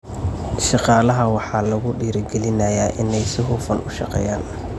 Shaqaalaha waxaa lagu dhiirigelinayaa inay si hufan u shaqeeyaan.